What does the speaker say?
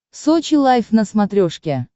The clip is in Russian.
сочи лайв на смотрешке